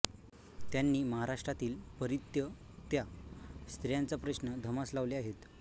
त्यांनी महाराष्ट्रातील परित्यक्त्या स्त्रियांचा प्रश्न धसास लावले आहेत